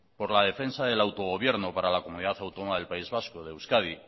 por la defensa del autogobierno para comunidad autónoma del país vasco de euskadi